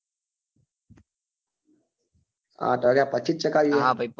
આંઠ વાગ્યા પછી જ ચાગવીયે હા ભાઈ તો